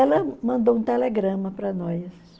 Ela mandou um telegrama para nós.